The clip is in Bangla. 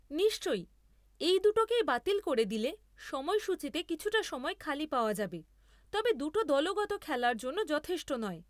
নিশ্চই , এই দুটোকেই বাতিল করে দিলে সময়সূচীতে কিছুটা সময় খালি পাওয়া যাবে, তবে দুটো দলগত খেলার জন্য যথেষ্ট নয়।